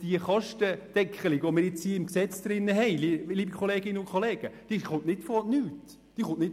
Die Kostendeckelung, die wir jetzt ins Gesetz schreiben, liebe Kolleginnen und Kollegen, kommt nicht von ungefähr.